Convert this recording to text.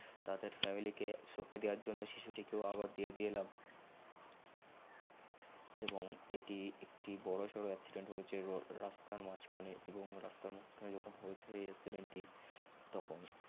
তাদের family কে সপে দেওয়ার জন্য হয়েছে এবং রাস্তার মাঝকাহ্নে এবং রাস্ত্রার মাঝখানে যখন হয়েছে এই জন্য শিশুটিকেও আবার দিয়ে এলাম এবং এটি একটি বর সর accident তখন